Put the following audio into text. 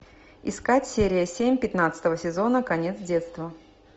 искать серия семь пятнадцатого сезона конец детства